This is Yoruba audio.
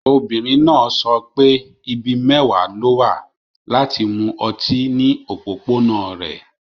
Obìnrin náà sọ pé ibi mẹ́wàá ló wà láti mu ọtí ní òpópónà rẹ̀.